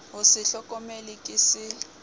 ho se hlokomele ke se